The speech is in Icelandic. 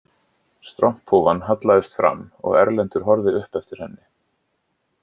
Stromphúfan hallaðist fram og Erlendur horfði upp eftir henni